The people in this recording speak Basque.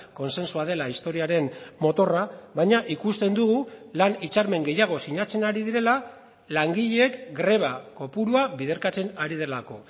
kontsentsua dela historiaren motorra baina ikusten dugu lan hitzarmen gehiago sinatzen ari direla langileek greba kopurua biderkatzen ari delako